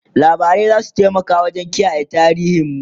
labarai zasu taimaka wajen kiyaye tarihin mu